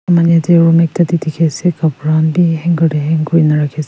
room ekta te dikhi ase kapra khan bi hanger hang kurina rakhi ase.